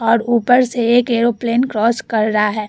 और ऊपर से एक एयरोप्लेन क्रॉस कर रहा है ।